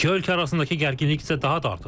İki ölkə arasındakı gərginlik isə daha da artacaq.